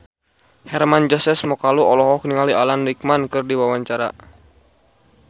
Hermann Josis Mokalu olohok ningali Alan Rickman keur diwawancara